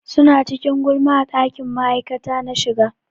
Suna cikin gulma a ɗakin ma'aikata na shiga.